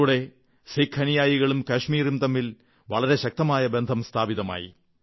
ഇതിലൂടെ സിഖ് അനുയായികളും കശ്മീരും തമ്മിൽ വളരെ ശക്തമായ ബന്ധം സ്ഥാപിതമായി